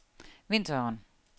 vinteren